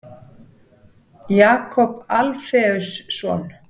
Jakob Alfeusson.